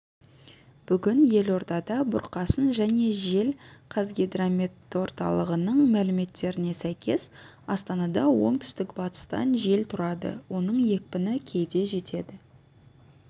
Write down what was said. бүгін елордада бұрқасын және жел қазгидрометорталығының мәліметтеріне сәйкес астанада оңтүстік-батыстан жел тұрады оның екпіні кейде жетеді